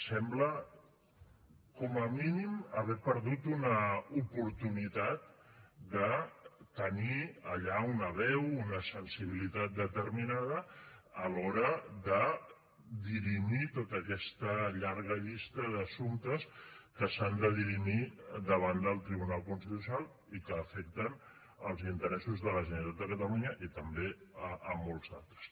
sembla com a mínim haver perdut una oportunitat de tenir allà una veu una sensibilitat determinada a l’hora de dirimir tota aquesta llarga llista d’assumptes que s’han de dirimir davant del tribunal constitucional i que afecten els interessos de la generalitat de catalunya i també molts altres